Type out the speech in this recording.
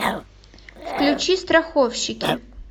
включи страховщики